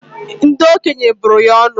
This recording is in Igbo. Ndi okenye bụrụ ya ọnụ